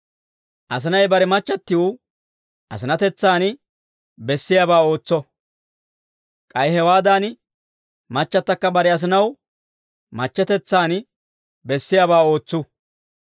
Asinay bare machchattiw asinatetsaan bessiyaabaa ootso; k'ay hewaadan, machchattakka bare asinaw machchetetsaan bessiyaabaa ootsu.